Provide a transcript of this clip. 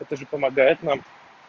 это же помогает нам